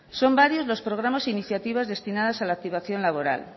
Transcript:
son varios los programas e iniciativas destinadas a la situación laboral